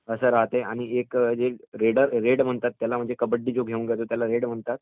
आणि एक रेडर म्हणजे जो कबड्डी घेऊन जातो त्याला रेडर म्हणतात.